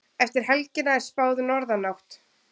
Eftir helgina er spáð norðanátt